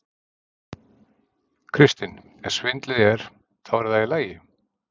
Kristinn: Ef svindlið er. þá er það í lagi?